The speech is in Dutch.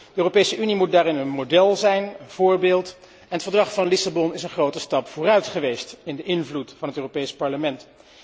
De Europese Unie moet daarin een model zijn, een voorbeeld, en het verdrag van Lissabon is een grote stap vooruit geweest voor de invloed van het Europees Parlement.